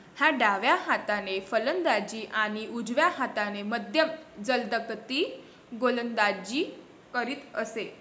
हा डाव्या हाताने फलंदाजी आणि उजव्या हाताने मध्यम जलदगती गोलंदाजी करीत असे.